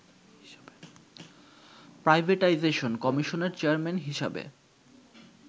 privatisation কমিশনের chairman হিসাবে